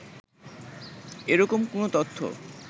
এরকম কোন তথ্য